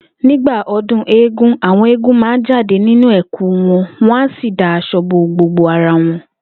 Nígbà o̩dún eégún, àwo̩n eégún máa jáde nínú è̩kú wo̩n wó̩n á sì da as̩o̩ bo gbogbo ara won